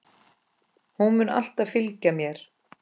Hún mun alltaf fylgja mér.